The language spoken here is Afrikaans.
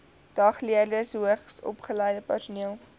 dagleerders hoogsopgeleide personeel